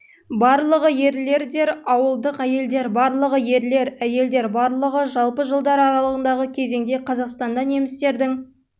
барлығы ерлер дер ауылдық әйелдер барлығы ерлер әйелдер барлығы жалпы жылдар аралығындағы кезеңде қазақстанда немістердің